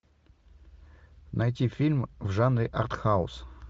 найти фильм в жанре артхаус